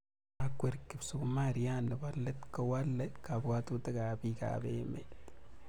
Nda kwer kipsumariat nebo let kowale kabwatutik ab piik ab emet